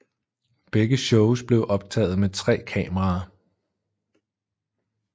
Begge shows blev optaget med tre kameraer